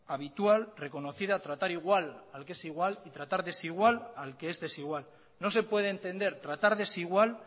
habitual reconocida tratar igual al que es igual y tratar desigual al que es desigual no se puede entender tratar desigual